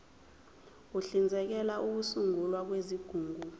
uhlinzekela ukusungulwa kwezigungu